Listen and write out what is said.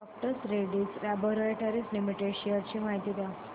डॉ Reddy's laboratories limited shares ची माहिती द्या